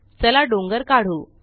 चला डोंगर काढू